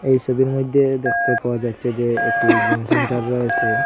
এই সবির মইধ্যে দেখতে পাওয়া যাচ্ছে যে একটি জিমসেন্টার রয়েসে।